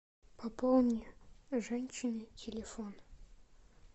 пополни женщине телефон